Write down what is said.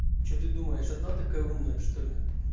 что ты думаешь одна такая умная что ли